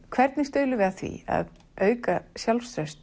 hvernig stuðlum við að því að auka sjálfstraust